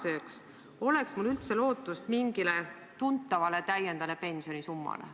Või sööks inflatsioon minu sissemakstud ja kogutud summa ära?